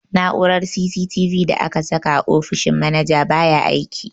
Na'urar CCTV da aka saka a ofishin manaja baya aiki.